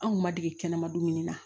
An kun ma dege kɛnɛma dumuni na